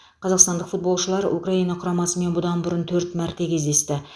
қазақстандық футболшылар украина құрамасымен бұдан бұрын төрт мәрте кездесті